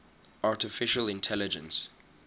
artificial intelligence